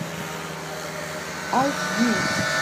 айч ди